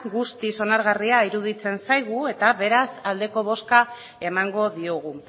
guzti onargarria iruditzen zaigu eta beraz aldeko boska emango diogu